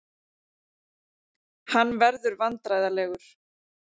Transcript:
Hann verður vandræðalegur.